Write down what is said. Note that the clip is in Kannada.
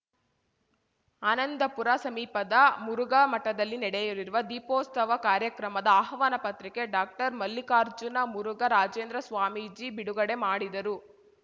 ಆನಂದಪುರ ಸಮೀಪದ ಮುರುಘಾ ಮಠದಲ್ಲಿ ನಡೆಯಲಿರುವ ದೀಪೋತ್ಸವ ಕಾರ್ಯಕ್ರಮದ ಆಹ್ವಾನ ಪತ್ರಿಕೆ ಡಾಕ್ಟರ್ ಮಲ್ಲಿಕಾರ್ಜುನ ಮುರುಘ ರಾಜೇಂದ್ರ ಸ್ವಾಮೀಜಿ ಬಿಡುಗಡೆ ಮಾಡಿದರು